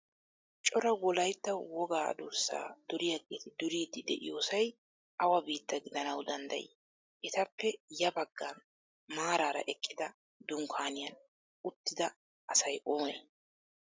Cora wolayitta wogaa durssaa duriyaageeti duriiddi de'iyoosay awa biitta gidanawu danddayii? Etappe ya baggan maaraara eqqida dunkkaaniyaan uuttuda asay oonee?